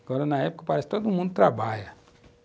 Agora, na época, parece que todo mundo trabalha.